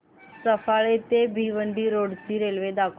सफाळे ते भिवंडी रोड ची रेल्वे दाखव